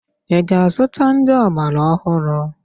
Ị ga-azụta ndị ọgbaraọhụrụ?